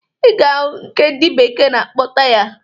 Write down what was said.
Ị ga-ahụ nke ndị bekee na-akpọ taya.